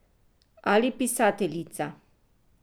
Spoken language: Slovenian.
Ali pisateljica.